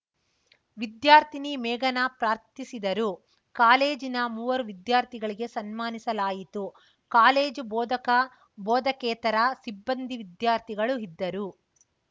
ವಿದ್ಯಾರ್ಥಿನಿ ಮೇಘನಾ ಪ್ರಾರ್ಥಿಸಿದರು ಕಾಲೇಜಿನ ಮೂವರು ವಿದ್ಯಾರ್ಥಿಗಳಿಗೆ ಸನ್ಮಾನಿಸಲಾಯಿತು ಕಾಲೇಜು ಬೋಧಕಬೋಧಕೇತರ ಸಿಬ್ಬಂದಿ ವಿದ್ಯಾರ್ಥಿಗಳು ಇದ್ದರು